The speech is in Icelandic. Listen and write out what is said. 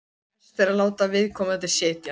Best er að láta viðkomandi setjast.